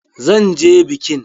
Zan je bikin!